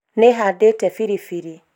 nĩhandĩte biribiri